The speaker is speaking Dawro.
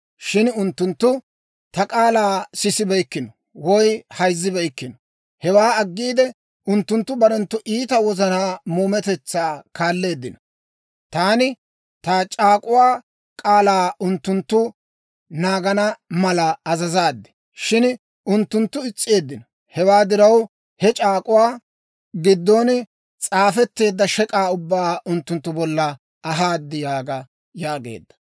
Shin unttunttu ta k'aalaa sisibeykkino woy hayzzibeykkino. Hewaa aggiide, unttunttu barenttu iita wozanaa muumetetsaa kaalleeddino. Taani ta c'aak'uwaa k'aalaa unttunttu naagana mala azazaad; shin unttunttu is's'eeddino. Hewaa diraw, he c'aak'uwaa giddon s'aafetteedda shek'aa ubbaa unttunttu bolla ahaad› yaaga» yaageedda.